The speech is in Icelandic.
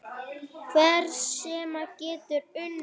Hver sem er getur unnið.